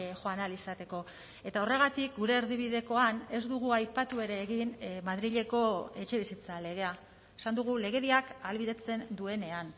joan ahal izateko eta horregatik gure erdibidekoan ez dugu aipatu ere egin madrileko etxebizitza legea esan dugu legediak ahalbidetzen duenean